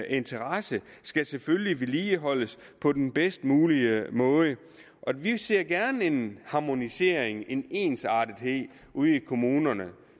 interesse skal selvfølgelig vedligeholdes på den bedst mulige måde og vi ser gerne en harmonisering en ensartethed ude i kommunerne